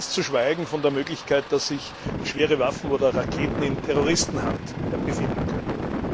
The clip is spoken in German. Ganz zu schweigen von der Möglichkeit, dass sich schwere Waffen oder Raketen in Terroristenhand befinden könnten.